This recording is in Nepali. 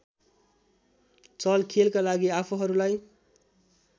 चलखेलका लागि आफूहरूलाई